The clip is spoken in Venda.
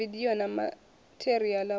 filimu vidio na matheriala wa